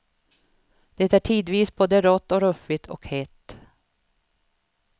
Det är tidvis både rått och ruffigt och hett.